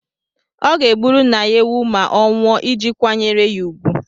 Ọ ga-egburu nna ya ewu ma ọ nwụọ iji kwanyere ya úgwù.